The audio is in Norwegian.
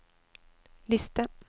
liste